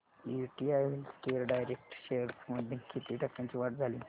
UTI healthcare direct shares मध्ये किती टक्क्यांची वाढ झाली